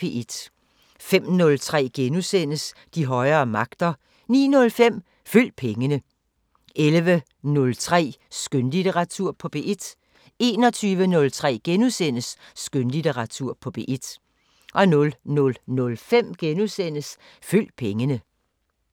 05:03: De højere magter * 09:05: Følg pengene 11:03: Skønlitteratur på P1 21:03: Skønlitteratur på P1 * 00:05: Følg pengene *